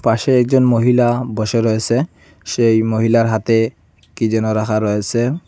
পাশে একজন মহিলা বসে রয়েসে সেই মহিলার হাতে কি যেন রাখা রয়েসে।